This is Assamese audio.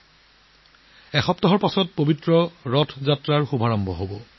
এসপ্তাহৰ পাছত পবিত্ৰ ৰথ যাত্ৰা আৰম্ভ হ'বলৈ গৈ আছে